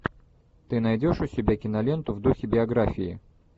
ты найдешь у себя киноленту в духе биографии